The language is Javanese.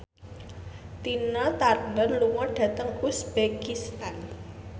Tina Turner lunga dhateng uzbekistan